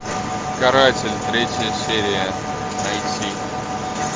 каратель третья серия найти